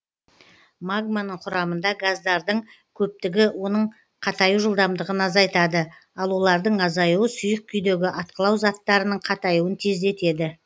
магманың құрамында газдардың көптігі оның қатаю жылдамдығын азайтады ал олардың азаюы сұйық күйдегі атқылау заттарының қатаюын тездетеді